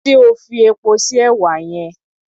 Ṣé o fi epo sí èwà yẹn?